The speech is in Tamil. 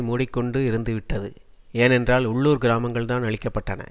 மூடி கொண்டு இருந்துவிட்டது ஏனென்றால் உள்ளூர் கிராமங்கள்தான் அழிக்க பட்டன